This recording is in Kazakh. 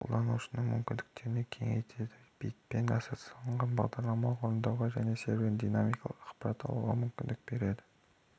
қолданушының мүмкіндіктерін кеңейтеді бетпен ассоциацияланған бағдарламаларды орындауға және серверінен динамикалық ақпарат алуға мүмкіндік береді